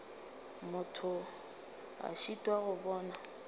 motho a šitwa go bona